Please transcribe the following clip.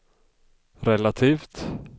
relativt